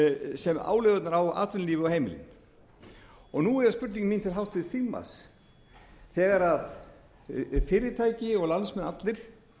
sem álögurnar á atvinnulífið og heimilin nú er spurning mín til háttvirts þingmanns þegar fyrirtæki og landsmenn allir